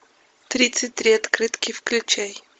тридцать три открытки включай